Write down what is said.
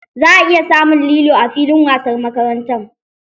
Za a iya samun lilo a fillin wasan makaranta.